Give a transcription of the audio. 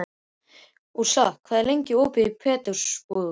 Úrsúla, hvað er lengi opið í Pétursbúð?